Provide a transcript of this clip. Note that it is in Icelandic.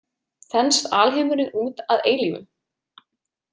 Þenst alheimurinn út að eilífu?